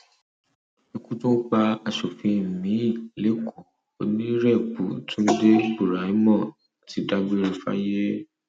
ikú tún pa asòfin miín lẹkọọ o onírèbù túnde buraimoh ti dágbére fáyé